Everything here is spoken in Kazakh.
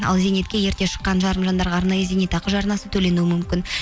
ал зейнетке ерте шыққан жарым жандарға арнайы зейнетақы жарнасы төленуі мүмкін